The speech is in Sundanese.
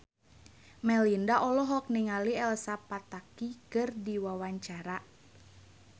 Melinda olohok ningali Elsa Pataky keur diwawancara